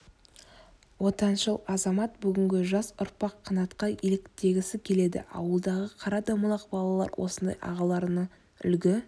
отаншыл азамат бүгінгі жас ұрпақ қанатқа еліктегісі келеді ауылдағы қара домалақ балалар осындай ағаларынан үлгі